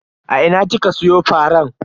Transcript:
A ina kika siyo faran?